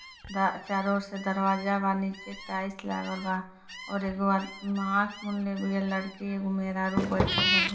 दा चारो ओर से दरवाजा बा नीचे टाइल्स लागल बा और एगो आँख मुनले बिया लड़कीएगो मेहरारू बईठल बानी।